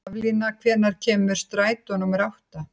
Haflína, hvenær kemur strætó númer átta?